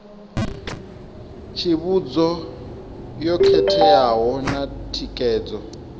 tsivhudzo yo khetheaho na thikedzo